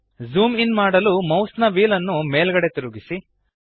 zoom in ಮಾಡಲು ಮೌಸ್ನ wheel ನ್ನು ಮೇಲ್ಗಡೆಗೆ ತಿರುಗಿಸಿ